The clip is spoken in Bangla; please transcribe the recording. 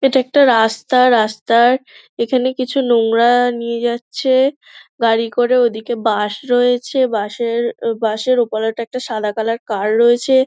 এটা একটা রাস্তা রাস্তার এখানে কিছু নোংরা নিয়ে যাচ্ছে গাড়ি করে ওদিকে বাস রয়েছে বাস এর বাস এর ওপারে একটি সাদা কালার কার রয়েছে।